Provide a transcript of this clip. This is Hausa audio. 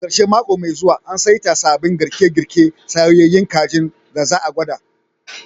A ƙarshen mako mai zuwa, an saita sabbin girke-girke na soyyayun kajin da za a gwada